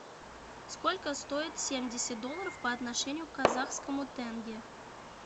сколько стоит семьдесят долларов по отношению к казахскому тенге